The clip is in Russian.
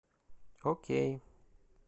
окей